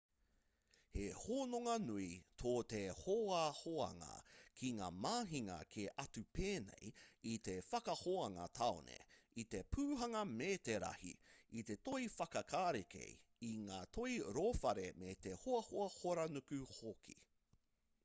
he hononga nui tō te hoahoanga ki ngā mahinga kē atu pēnei i te whakahoanga tāone i te pūhanga metarahi i te toi whakarākei i ngā toi rōwhare me te hoahoa horanuku hoki